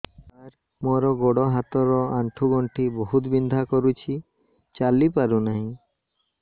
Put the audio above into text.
ସାର ମୋର ଗୋଡ ହାତ ର ଆଣ୍ଠୁ ଗଣ୍ଠି ବହୁତ ବିନ୍ଧା କରୁଛି ଚାଲି ପାରୁନାହିଁ